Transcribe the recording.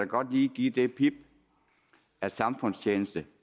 godt lige give det pip at samfundstjeneste